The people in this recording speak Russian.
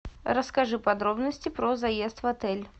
расскажи подробности про заезд в отель